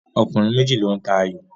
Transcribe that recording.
Ọkùnrin méjì ló ń ta ayò